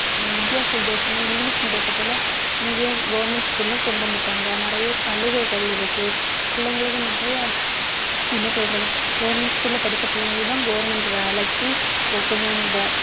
வித்தியாச வித்தியாசமா English medium த்தைப் போல இங்கேயும் government school லயும் கொண்டு வந்துட்டாங்க நிறைய சலுகைகள் இருக்கு பிள்ளைங்களுக்கு நிறைய என்ன சொல்றது government school ல படிச்ச பிள்ளைங்களுக்குதான் government வேலைக்கு கொ~ கொஞ்சம் இந்த